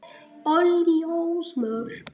Óljós mörk.